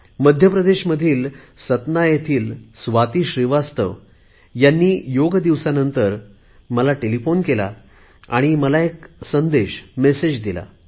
मध्य प्रदेशामधील सतना येथील स्वाती श्रीवास्तव यांनी योग दिवसानंतर मला टेलिफोन केला आणि मला एक संदेश दिला